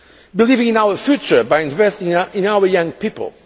believing in our future by investing in our young people.